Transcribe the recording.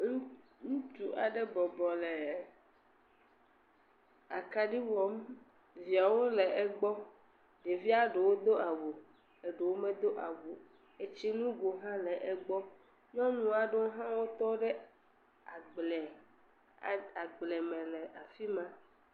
Ŋutsu aɖe bɔbɔ le akaɖi wɔm, viawo le egbɔ, ɖevia ɖowo do awu, eɖowo me do awuo, etsi nugo hã egbɔ, nyɔnua aɖowo hã wo tɔ ɖe agbleme le afima.